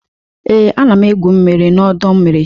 Ee, ana m egwu mmiri n'ọdọ mmiri.